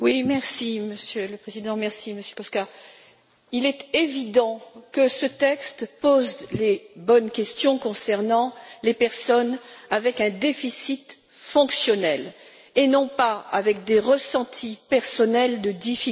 Monsieur le Président, merci Monsieur Kósa, il est évident que ce texte pose les bonnes questions concernant les personnes souffrant d'un déficit fonctionnel, et non de ressentis personnels de difficultés.